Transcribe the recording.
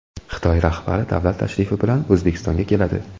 Xitoy rahbari davlat tashrifi bilan O‘zbekistonga keladi.